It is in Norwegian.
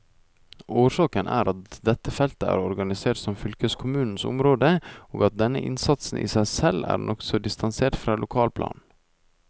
Årsaken er at dette feltet er organisert som fylkeskommunenes område, og at denne instansen i seg selv er nokså distansert fra lokalplanet.